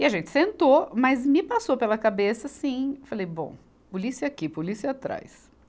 E a gente sentou, mas me passou pela cabeça assim, eu falei, bom, polícia aqui, polícia atrás.